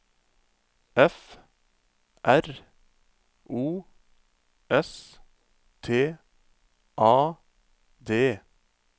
F R O S T A D